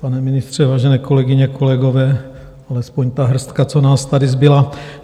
Pane ministře, vážené kolegyně, kolegové, alespoň ta hrstka, co nás tady zbyla.